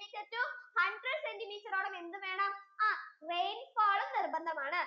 to hundred centimeter ഓളം എന്ത് വേണം ആ rainfall നിർബന്ധം ആണ്